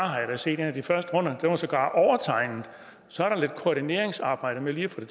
set at en af de første runder var overtegnet så er der lidt koordineringsarbejde med lige at få